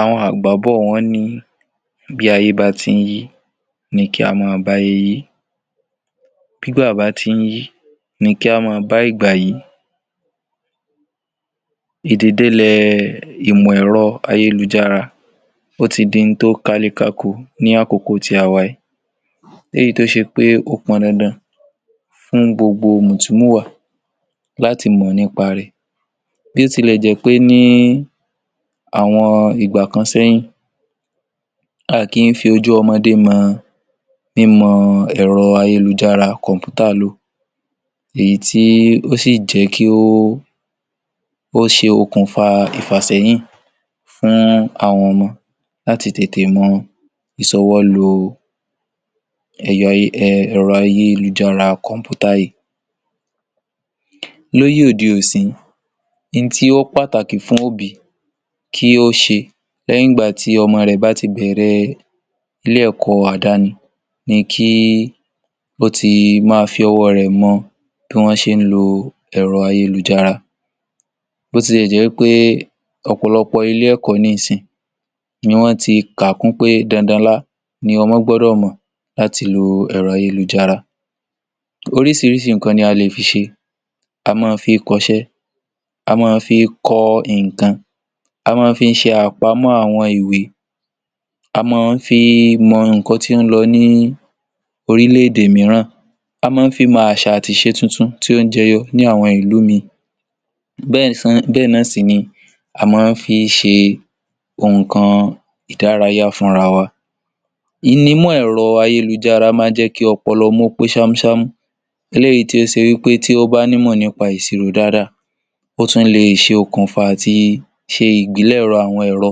Àwọn àgbà bọ̀ wọ́n ní pé bí ayé bá ti ń yí, ní kí a má bà ayé yìí; bí ìgbà bá ti ń yí, ní kí a má bà ìgbà yìí. Ìdíde lé ìmọ̀ èrò ayé lùjárà, ó ti di oun tó kàlẹ̀ kákó ní àkókò tí àwa yìí lèyí, tó ṣe pé ó pọ̀n dandan fún gbogbo mútùmúwà láti mọ nípa rẹ̀. Bí ó ti lè jẹ́ pé ní àwọn ìgbà kan ṣáájú, a kì í fi ojú ọmọde mọ ìmọ̀ èrò ayé lùjárà kọ̀ńpútà lọ, èyí tí ó sì jẹ́ kí ó ṣe okunfa ìfàsẹyìn fún àwọn ọmọ láti tete mọ ìṣòwò lò èrò ayé lùjárà kọ̀ńpútà yìí. Láyé òde òní, ohun tí ó pàtàkì fún òbí kí ó ṣe lẹ́yìn ìgbà tí ọmọ rẹ̀ bá ti bẹ̀rẹ̀ ilé-ẹ̀kọ́ àdáni, ní kí ó ti má fi ọwọ́ rẹ̀ mọ bí wọ́n ṣe ń lo èrò ayé lùjárà, bó tilẹ̀ jẹ́ wípé ọ̀pọ̀lọpọ̀ ilé-ẹ̀kọ́ nísinsìyí ni wọ́n ti kànkún pé dandan là ní ọmọ gbọ́dọ̀ mọ láti lo èrò ayé lùjárà. Oríṣìíríṣìí nkan ni a lè fi ṣe: a máa ń fi kọ́ iṣẹ́, a máa ń fi kọ́ nkan, a máa ń fi ṣe àpamọ́ àwọn ìwé, a máa ń fi mọ ìkànnì tí ó lọ ní orílẹ̀-èdè míràn, a máa ń fi mọ àṣà àti iṣẹ́ tuntun tí ó jẹ́yọ ní àwọn ìlú mìíràn. Bé̩è̩ náà sì ni a máa ń fi ṣe nkan ìdárayá fún ara wa. Ohun ni ìmọ̀ èrò ayé máa ń jẹ́ kí ọpọlọ ọmọ pẹ́ sàmúsàmú. Èyí tó ṣe pé tí ó bá ní ìmọ̀ nípa ìṣirò dáadáa, ó tún lè ṣe okunfa tí ṣe ìgbìlẹ̀rọ̀ àwọn èrò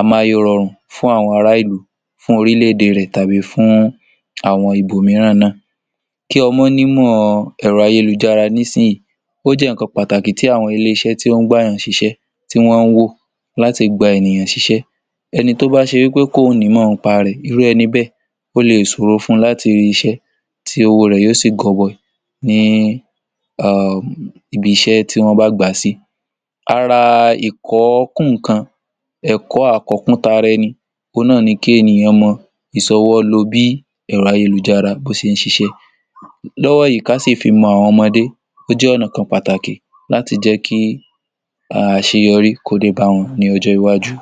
amáyédẹrùn fún àwọn ará ìlú, fún orílẹ̀-èdè rẹ̀ tàbí fún àwọn ibòmíìrán náà. Kí ọmọ ní ìmọ̀ èrò ayé lùjárà nísinsìyí, ó jẹ́ nkan pàtàkì tí àwọn ilé-iṣẹ́ tí wọ́n gba èyàn sí iṣẹ́, tí wọ́n wo láti lè gba ènìyàn sí iṣẹ́, ẹni tó bá ṣe pé kò ní ìmọ̀ nípa rẹ̀, irú ẹni bẹ́ẹ̀ ò lè ṣòro fún láti rí iṣẹ́, tí ọwọ́ rẹ̀ yóò sì gòbóyìn ní ibi iṣẹ́ tí wọ́n bá gba sí. Àra ìkọ́ kún nkan ẹ̀kọ́ àkọ́kùn tàrà ènìyàn, ohun náà ni kí ènìyàn mọ ìṣòwò lò bí èrò ayé lùjárà bó ṣe ń ṣiṣẹ́ lọ́́wọ́ yìí. Ká sì fi mọ àwọn ọmọde, ó jẹ́ ọ̀nà kan pàtàkì làti jẹ́ kí aṣeyọrí kọ́ dé bá wọn ní ọjọ́ iwájú.